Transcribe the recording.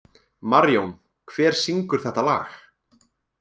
Marjón, hver syngur þetta lag?